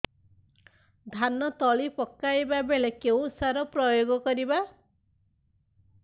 ଧାନ ତଳି ପକାଇବା ବେଳେ କେଉଁ ସାର ପ୍ରୟୋଗ କରିବା